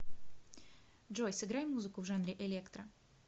джой сыграй музыку в жанре электро